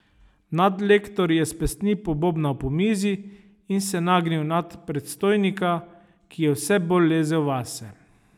Nadlektor je s pestmi pobobnal po mizi in se nagnil nad predstojnika, ki je vse bolj lezel vase.